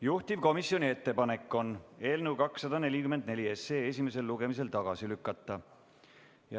Juhtivkomisjoni ettepanek on eelnõu 244 esimesel lugemisel tagasi lükata.